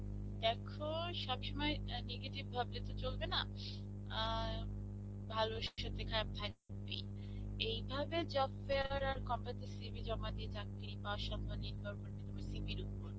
দ্যাখো, সবসময় আ negative ভাবলে তো চলবে না. আ ভালো সত্যি খারাপ থাকবেই. এইভাবে job fair আর company CV জমা দিয়ে চাকরি পাবার সম্ভবনা নির্ভর করছে CV র উপর.